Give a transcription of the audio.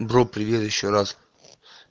бро привет ещё раз